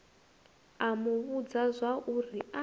a mu vhudza zwauri a